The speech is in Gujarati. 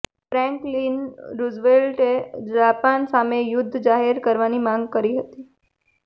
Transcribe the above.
ફ્રૅન્કલિન રૂઝવેલ્ટએ જાપાન સામે યુદ્ધ જાહેર કરવાની માંગ કરી હતી